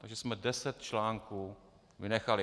Takže jsme deset článků vynechali.